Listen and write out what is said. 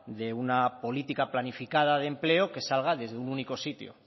de una política planificada de empleo que salga desde un único sitio